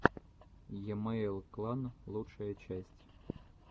емэйл клан лучшая часть